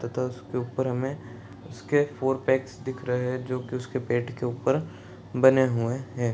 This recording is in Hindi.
तथा उसके ऊपर उसके फोर पैक दिख रहे है जो की उसके पेट के ऊपर बने हुये है |